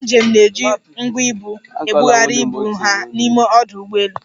Ndị njem na-eji ngwa ibu (troli) ebugharị ibu ha n'ime ọdụ ụgbọelu.